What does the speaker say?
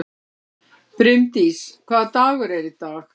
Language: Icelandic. Brimdís, hvaða dagur er í dag?